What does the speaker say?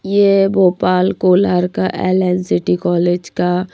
ये भोपाल कोलार का LNCT college का--